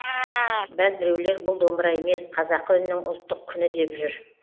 бәзбіреулер бұл домбыра емес қазақы үннің ұлттық күні деп жүр